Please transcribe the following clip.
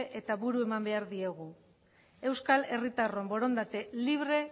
eta buru eman behar diegu euskal herritarron borondate libre